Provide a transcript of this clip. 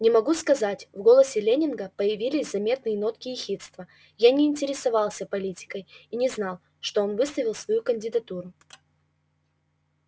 не могу сказать в голосе лэннинга появились заметные нотки ехидства я не интересовался политикой и не знал что он выставил свою кандидатуру